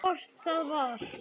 Hvort það var!